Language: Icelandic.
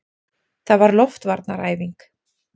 Það var loftvarnaæfing!